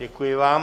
Děkuji vám.